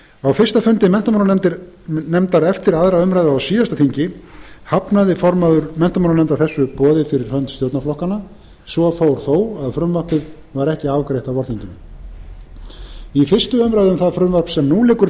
á fyrsta fundi menntamálanefndar eftir aðra umræðu á síðasta þingi hafnaði formaður menntamálanefndar þessu boði fyrir hönd stjórnarflokkanna svo fór þó að frumvarpið var ekki afgreitt á vorþinginu í fyrstu umræðu um það frumvarp sem nú liggur